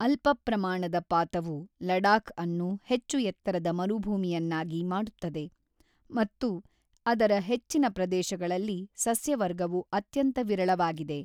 ಅಲ್ಪ ಪ್ರಮಾಣದ ಪಾತವು ಲಡಾಖ್ ಅನ್ನು ಹೆಚ್ಚು-ಎತ್ತರದ ಮರುಭೂಮಿಯನ್ನಾಗಿ ಮಾಡುತ್ತದೆ ಮತ್ತು ಅದರ ಹೆಚ್ಚಿನ ಪ್ರದೇಶಗಳಲ್ಲಿ ಸಸ್ಯವರ್ಗವು ಅತ್ಯಂತ ವಿರಳವಾಗಿದೆ.